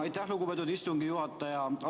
Aitäh, lugupeetud istungi juhataja!